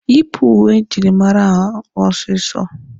Yịpụ uwe njirimara ahụ ọsịsọ!